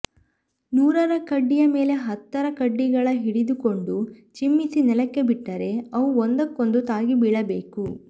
ನೂರರ ಕಡ್ಡಿಯ ಮೇಲೆ ಹತ್ತರ ಕಡ್ಡಿಗಳ ಹಿಡಿದುಕೊಂಡು ಚಿಮ್ಮಿಸಿ ನೆಲಕ್ಕೆ ಬಿಟ್ಟರೆ ಅವು ಒಂದಕ್ಕೊಂದು ತಾಗಿ ಬೀಳಬೇಕು